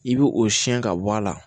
I bɛ o siyɛn ka bɔ a la